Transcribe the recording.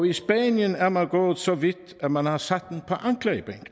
i spanien er man gået så vidt at man har sat